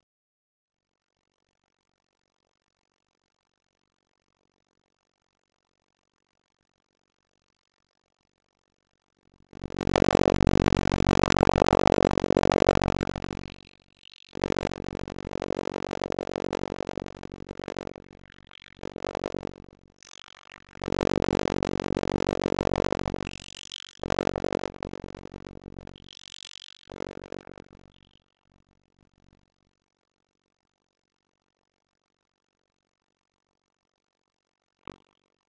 Menn hafa ekki nógu mikla trú á sjálfum sér.